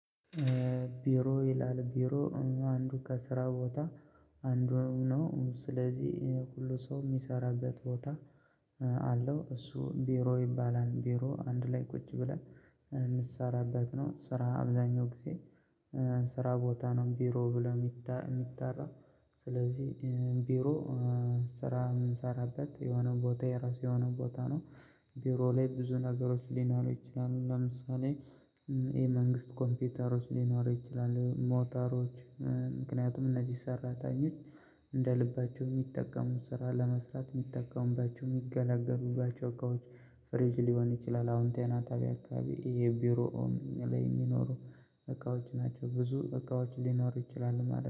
ቢሮ ይላል ቢሮ አንዱ ከስራ ቦታ አንዱንም ነው ስለዚህ ሁሉ ሰው የሚሰራበት ቦታ አለው እሱ ቢሮ ይባላል። ቢሮ አንድ ላይ ቁጭ ብለን የምንሰራበት ነው። ስራ አብዛኛው ጊዜ ስራ ቦታ ነው። ቢሮ ብለው የሚጣራው ስለዚህ ቢሮ ስራ የምንሰራበት የሆነ ቦታ የራሱ የሆነ ቦታ ነው። ቢሮ ላይ ብዙ ነገሮች ሊኖሩ ይችላሉ ለምሳሌ ይሄ የመንግስት ኮምፒውተሮች ሊኖሩ ይችላሉ። ሞተሮች ምክንያቱም እነዚህ ሰራተኞች እንደ ልባቸው የሚጠቀሙት ስራ ለመስጠት የሚጠቀሙባቸው የሚገለገሉባቸው እቃዎች ፍሬጅ ሊሆን ይችላል። አሁን ጤና ጣቢያ አካባቢ የቢሮውን ላይ የሚኖሩ እቃዎች ናቸው። ብዙ እቃዎች ሊኖሩ ይችላሉ ማለት ነው